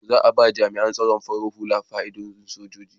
Za a ba jami'an tsaron farar hula fa'idodin soji.